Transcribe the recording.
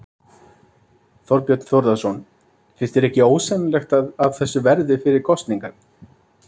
Þorbjörn Þórðarson: Finnst þér ekki ósennilegt að af þessu verði fyrir kosningar?